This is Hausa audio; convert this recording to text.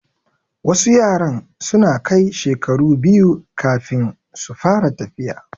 Wasu yaran suna kai shekaru biyu kafin su fara tafiya